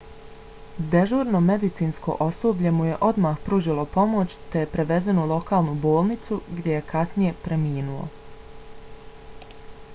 dežurno medicinsko osoblje mu je odmah pružilo pomoć te je prevezen u lokalnu bolnicu gdje je kasnije preminuo